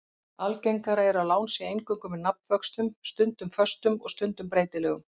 Algengara er að lán séu eingöngu með nafnvöxtum, stundum föstum og stundum breytilegum.